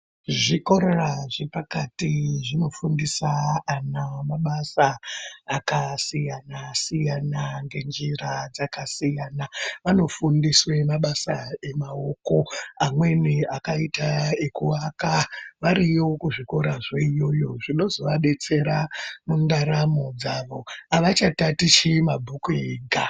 Zvikora zvepakati zvinofundisa ana mabasa akasiyana siyana ngenjira dzakasiyana. Vanofundiswe mabasa emaoko amweni akaita ekuwaka, variyo kuzvikora zveiyoyo, zvinozovadetsera mundaramo dzawo. Havachatatichi mabhuku ega.